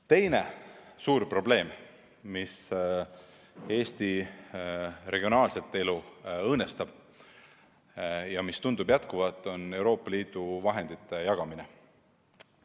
Teine suur probleem, mis Eesti regionaalset elu õõnestab ja mis tundub püsivat, on Euroopa Liidu vahendite jagamine.